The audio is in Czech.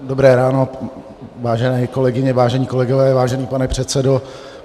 Dobré ráno, vážené kolegyně, vážení kolegové, vážený pane předsedo.